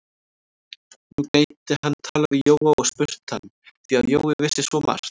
Nú gæti hann talað við Jóa og spurt hann, því að Jói vissi svo margt.